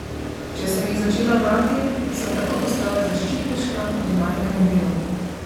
Če sem jih začela brati, sem takoj postala zaščitniška do najinega dela.